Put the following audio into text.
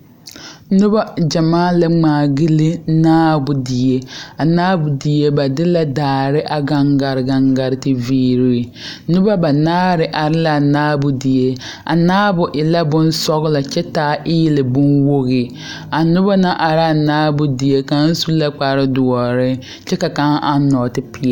Noba gyɛmaa la ŋmaa gyilli naabo die a naabo die ba de la daare a gaŋ gare gaŋ gare te viiri noba banaare are la a naabo die a naabo e la bonscglɔ kyɛ taa eelɛ bonwogi a noba naŋ are a naabo die kaŋ su la kparedoɔre kyɛ ka kaŋ eŋ nɔɔtipeɛlle.